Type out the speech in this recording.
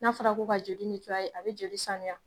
N'a fɔra ko ka joli a bɛ joli saniya